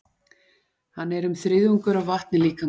Hann er um þriðjungur af vatni líkamans.